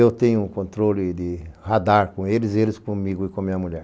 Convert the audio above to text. Eu tenho um controle de radar com eles, eles comigo e com minha mulher.